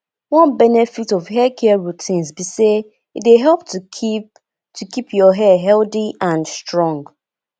one benefit of haircare routines be say e dey help to keep to keep your hair healthy and strong